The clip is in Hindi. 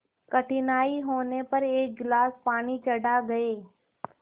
कठिनाई होने पर एक गिलास पानी चढ़ा गए